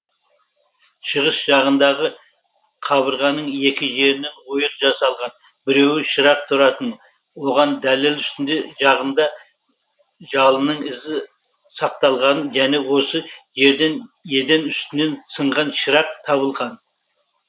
шығыс жағындағы қабырғаның екі жерінен ойық жасалған біреуі шырақ тұратын оған дәлел үстіңі жағында жалынның ізі сақталған және осы жерден еден үстінен сынған шырақ табылған